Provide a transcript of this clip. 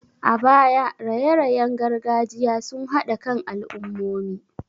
A baya, raye-rayen gargajiya sun haɗa kan al'ummomi.